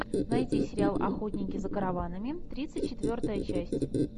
найди сериал охотники за караванами тридцать четвертая часть